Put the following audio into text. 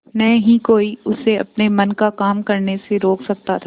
न ही कोई उसे अपने मन का काम करने से रोक सकता था